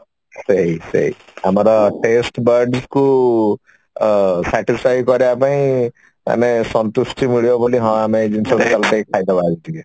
ସେଇ ସେଇ ଆମର taste bud କୁ ଉ ଆଁ satisfy କରିବା ପାଇଁ ଆଁ ଆମେ ସନ୍ତୁଷ୍ଟି ମିଳିବ ବୋଲି ହଁ ଆମେ ଏଇ ଜିନିଷ ସାଙ୍ଗେ ସାଙ୍ଗେ ଖାଇଦବା ଉଠିକି